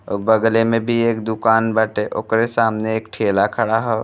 अउ बगले में बी एक दुकान बाटे ओकरे सामने एक ठेला खड़ा ह।